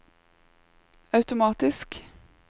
automatisk